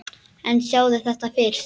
En sjáðu þetta fyrst!